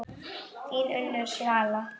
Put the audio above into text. Þín Unnur Svala.